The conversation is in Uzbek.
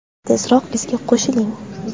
Tezroq bizga qo‘shiling!